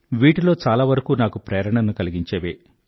వీటిలో చాలవరకూ నాకు ప్రేరణను కలిగించేవే